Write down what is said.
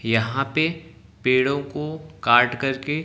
यहां पे पेड़ों को काट करके--